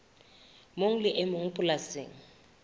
mong le e mong polasing